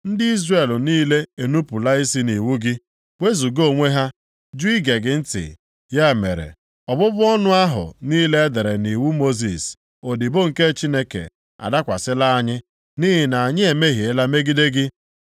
Ndị Izrel niile enupula isi nʼiwu gị, wezuga onwe ha, jụ ige gị ntị. “Ya mere, ọbụbụ ọnụ ahụ niile e dere nʼiwu Mosis, odibo nke Chineke adakwasịla anyị, nʼihi na anyị emehiela megide gị.